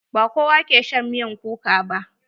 Ba kowa ke shan miyar kuka ba.